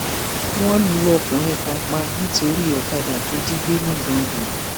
wọn lu ọkùnrin kan pa nítorí ọkadà tó jí gbé nigando